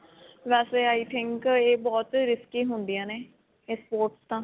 ਵੈਸੇ i think ਇਹ ਬਹੁਤ risky ਹੁੰਦੀਆਂ ਨੇ ਇਹ sports ਤਾਂ.